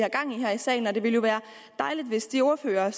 her i salen og det ville jo være dejligt hvis de ordførere